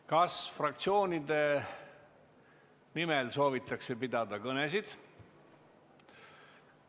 Kas fraktsioonide nimel soovitakse pidada kõnesid?